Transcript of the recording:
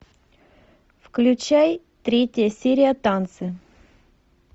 включай третья серия танцы